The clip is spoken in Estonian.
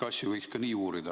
Asju võiks ka nii uurida.